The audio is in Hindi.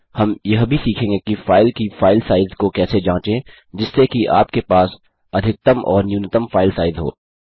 हम यह भी सीखेंगे कि फाइल की फाइल साइज़ को कैसे जाँचें जिससे कि आप के पास अधिकतम और न्यूनतम फाइल साइज़ हो